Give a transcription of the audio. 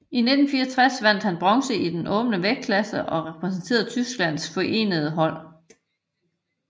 I 1964 vandt han bronze i den åbne vægtklasse og repræsenterede Tysklands forenede hold